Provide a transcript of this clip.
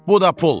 Bu da pul.